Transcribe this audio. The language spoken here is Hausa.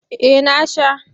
Eh na sha.